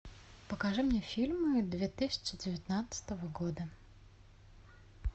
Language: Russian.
покажи мне фильмы две тысячи девятнадцатого года